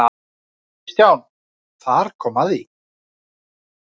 Hér er ekki útilokað að bera upp aðaltillögu fyrst og síðan breytingatillögu.